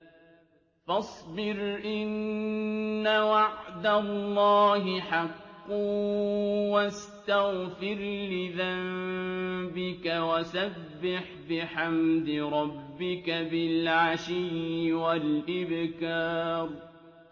فَاصْبِرْ إِنَّ وَعْدَ اللَّهِ حَقٌّ وَاسْتَغْفِرْ لِذَنبِكَ وَسَبِّحْ بِحَمْدِ رَبِّكَ بِالْعَشِيِّ وَالْإِبْكَارِ